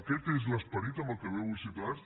aquest és l’esperit amb el que ve avui ciutadans